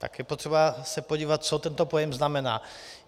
Tak je potřeba se podívat, co tento pojem znamená.